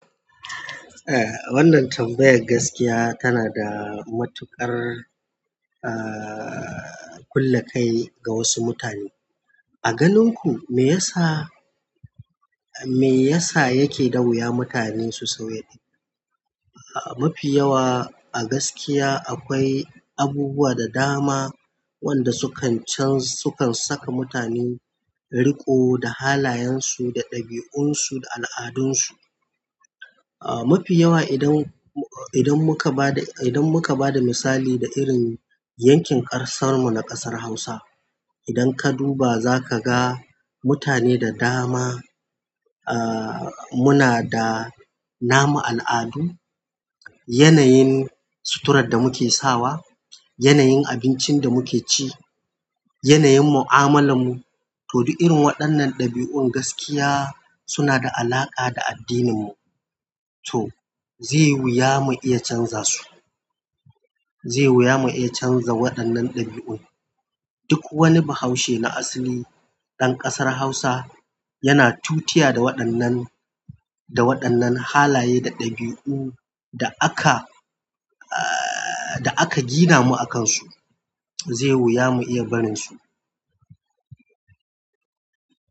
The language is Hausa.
Eh, wannan tambayar gaskiya tana da matuqar, ahhh, kulakai ga wasu mutane. A ganin ku me yasa, me yasa yake da wuya mutane su sauya? Mafi yawa a gaskiya akwai abubuwa da dama wanda sukan chanja sukan saka mutane riko da halayensu, da ɗabi'unsu, da al'adunsu. Ah, mafi yawa idan, idan muka ba da, idan muka ba da misali da irin yankin ƙarsar mu na ƙasar Hausa. Idan ka duba za ka ga mutane da dama, ahhh, muna da namun al'adun, yanayin suturar da muke sawa, yanayin abincin da muke ci, yanayin mu'amalar mu. To, duk irin waɗannan ɗabi'un gaskiya suna da alaƙa da addininmu. To, zai wuya mu iya canza su. Zai wuya mu iya canza waɗannan ɗabi'un. Duk wani Bahaushe na asili ɗan ƙasar Hausa yana tutiya da waɗannan, da waɗannan halaye da ɗabi'u da aka, ahhh, da aka gina mu a kansu. Zai wuya mu iya barinsu.